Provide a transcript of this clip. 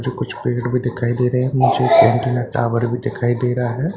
मुझे कुछ पेड़ भी दिखाई दे रहे हैं नीचे एक टावर भी दिखाई दे रहा हैं।